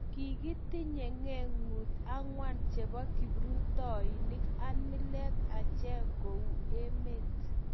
kikitinye ngekut angwan chebo kiprutoinik ak milet achek kou emet